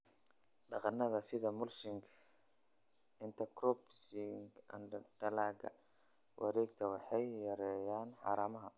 Dhaqannada sida mulching, intercropping & dalagga wareegtada waxay yareeyaan haramaha"